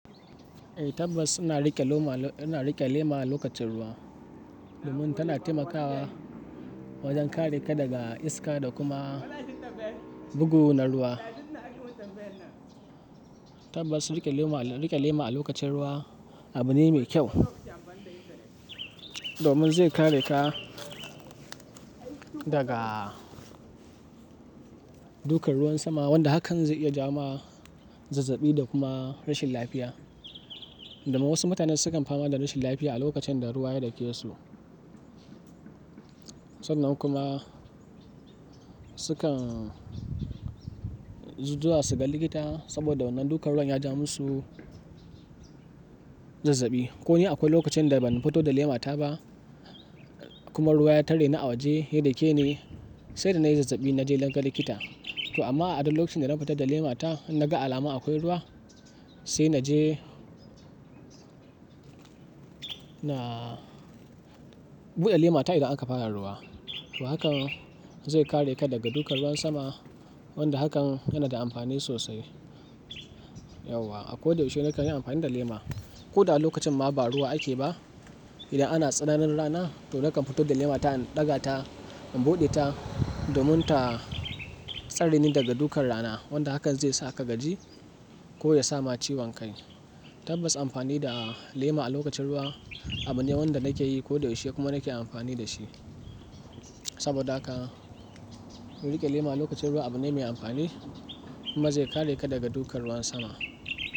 Eh tabbas ana rike lema lokacin ruwa domin tana taimakawa wajen kare ka daga iska da kuma bugu na ruwa. Tabbas rike lema a lokacin ruwa abu ne mai kyau domin zai kare ka daga dukan ruwan sama wanda hakan zai iya jawo ma zazzabi da kuma rashin lafiya. Domin wasu mutanen sukan fama da rashin lafiya a lokacin da ruwa ya dake su. Sannan kuma sukan zuwa su ga likita saboda wannan dukan ruwan ya ja musu zazzabi. Ko ni akwai lokacin da ban fito da lemata ba kuma ruwa ya tare ni a waje ya dake ni sai da nayi zazzabi na je naga likita. To amma a duk lokacin da na fita da lemata na ga alamun akwai ruwa sai na je na bude lemata idan aka fara ruwa. To hakan zai kare ka daga dukan ruwan sama wanda hakan yana da amfani sosai yauwa. A koda yaushe nakan yi amfani da lema. Ko da lokacin ma ba ruwa ake ba idan ana tsananin rana to nakan fito da lemata in ɗaga ta in buɗe ta domin ta tsare ni daga dukan rana wanda hakan zai sa ka gaji ko ya sama ciwon kai. Tabbas amfani da lema a lokacin ruwa abu ne wanda nake yi ko da yaushe kuma nake amfani da shi. Saboda haka rike lema a lokacin ruwa abu ne mai amfani kuma zai kare ka daga dukan ruwan sama.